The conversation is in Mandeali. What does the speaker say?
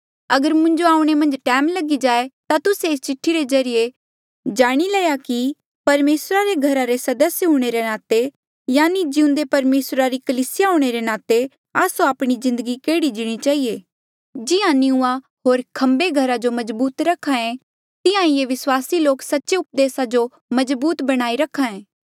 अगर मुंजो आऊणें मन्झ टैम लगी जाए ता तुस्से एस चिठ्ठी रे ज्रीए जाणी लया कि परमेसरा रे घरा रे सदस्य हूंणे रे नाते यानि जिउंदे परमेसरा री कलीसिया हूंणे रे नाते आस्सो आपणी जिन्दगी केहड़ी जीणी चहिए जिहां निंऊँआं होर खम्बे घरा जो मजबूत रखे तिहां ही ये विस्वासी लोक सच्चे उपदेसा जो मजबूत बणाई रखे